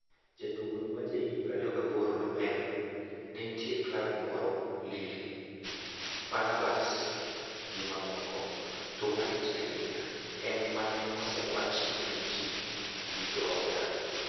jatugono ma jahigni 28, nomedo: " nentie klab moro- Lille, Fenerbahce gi mamoko, to malich ahinya en mane osewachi gi ji gi jooda.